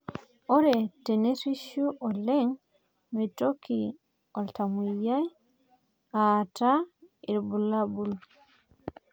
Ore tenerishu oleng meitoki iltamoyia aata irbulabol